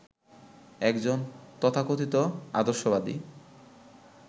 একজন তথাকথিত আদর্শবাদী